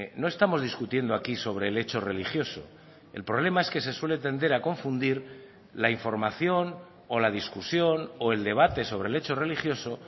no estamos discutiendo aquí sobre el hecho religioso el problema es que se suele tender a confundir la información o la discusión o el debate sobre el hecho religioso